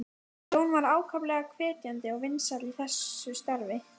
Hún endurtók það sem hún var að segja.